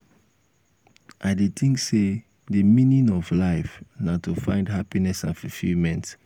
i dey think say di meaning of life na to find happiness and fulfillment.